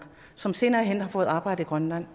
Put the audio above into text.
som senere hen har fået arbejde i grønland